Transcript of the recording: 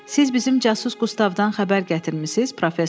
Siz bizim casus Qustavdan xəbər gətirmisiniz?